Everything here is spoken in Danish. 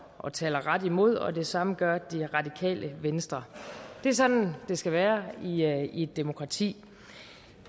og taler ret imod og det samme gør det radikale venstre det er sådan det skal være i et demokrati